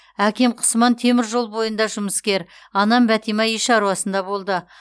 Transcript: әкем құсман темір жол бойында жұмыскер анам бәтима үй шаруасында болды